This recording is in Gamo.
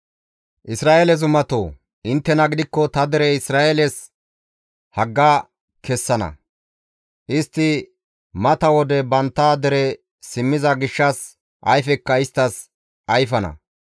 «Isra7eele zumatoo, intte gidikko ta dere Isra7eeles hagga kessana; istti mata wode bantta dere simmiza gishshas ayfekka isttas ayfana.